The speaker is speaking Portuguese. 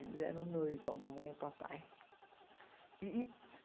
Eles eram noivo, a mamãe e papai. E e